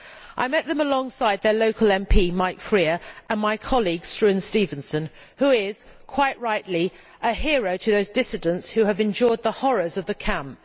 I met them alongside their local MP, Mike Freer, and my colleague, Struan Stevenson, who is, quite rightly, a hero to those dissidents who have endured the horrors of the camp.